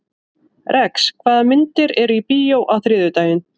Rex, hvaða myndir eru í bíó á þriðjudaginn?